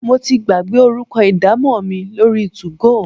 Mo ti gbàgbé orúkọ idamo mi lórí two-go.